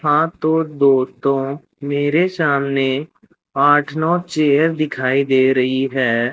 हां तो दोस्तों मेरे सामने आठ नौ चेयर दिखाई दे रही है।